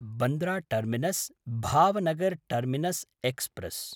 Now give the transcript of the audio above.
Bandra टर्मिनस्–भावनगर् terminus express